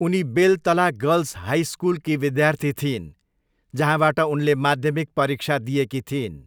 उनी Beltala girls high सकुलकी विद्यार्थी थिइन् जहाँबाट उनले माध्यमिक परीक्षा दिएकी थिइन्।